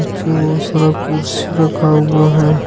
जो सारा कुर्सी रखा हुआ है।